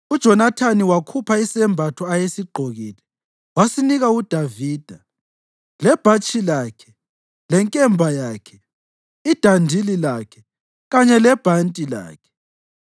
UJonathani wakhupha isembatho ayesigqokile wasinika uDavida, lebhatshi lakhe, lenkemba yakhe, idandili lakhe kanye lebhanti lakhe.